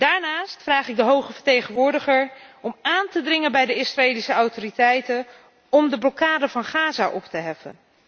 Daarnaast vraag ik de Hoge Vertegenwoordiger om aan te dringen bij de Israëlische autoriteiten om de blokkade van Gaza op te heffen.